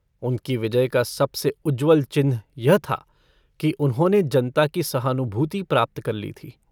उनकी विजय का सबसे उज्ज्वल चिन्ह यह था कि उन्होंने जनता की सहानुभूति प्राप्त कर ली थी।